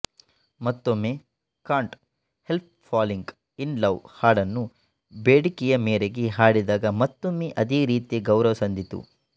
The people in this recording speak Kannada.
ಮತ್ತೊಮ್ಮೆಕಾಂಟ್ ಹೆಲ್ಪ್ ಫಾಲಿಂಗ್ ಇನ್ ಲವ್ ಹಾಡನ್ನು ಬೇಡಿಕೆಯ ಮೇರೆಗೆ ಹಾಡಿದಾಗ ಮತ್ತೊಮ್ಮೆ ಅದೇ ರೀತಿಯ ಗೌರವ ಸಂದಿತು